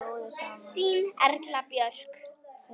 Þín Erla Björk.